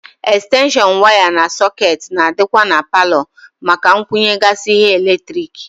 Ekstenshon waya na sọkeetị na-adịkwa na paalọ maka ịkwunyegasị ihe eletrik.